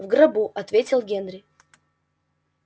в гробу ответил генри